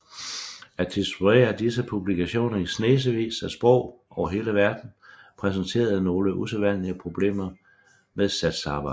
At distribuere disse publikationer i snesevis af sprog over hele verden præsenterede nogle usædvanlige problemer med satsarbejde